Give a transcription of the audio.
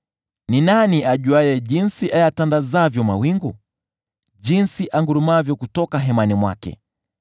Ni nani ajuaye jinsi ayatandazavyo mawingu, jinsi angurumavyo kutoka hemani mwake.